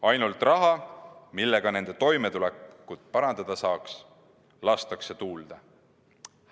Ainult raha, millega nende toimetulekut saaks parandada, lastakse tuulde.